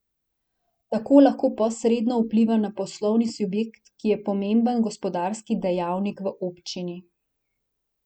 Tako lahko posredno vpliva na poslovni subjekt, ki je pomemben gospodarski dejavnik v občini.